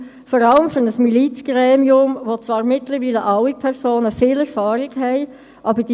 Wird die Liegenschaft in einer Buchhaltung zum Verkehrswert oder zum Wiederbeschaffungswert abgebildet?